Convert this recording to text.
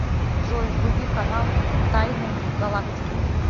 джой вруби канал тайны галактики